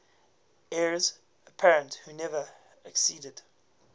heirs apparent who never acceded